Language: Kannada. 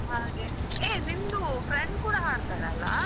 ಹಾಗೆ hey ನಿಂದು friend ಕೂಡಾ ಹಾಡ್ತಾಳಲ್ಲಾ.